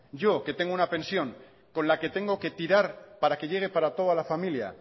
yo que tengo una pensión con la que tengo que tirar para que llegue para toda la familia